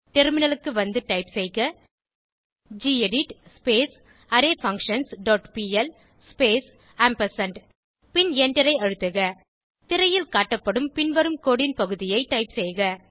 டெர்மினலுக்கு வந்து டைப் செய்க gedit array functions dot P L space ampersand பின் எண்டரை அழுத்துக திரையில் காட்டப்படும் பின்வரும் கோடு ன் பகுதியை டைப் செய்க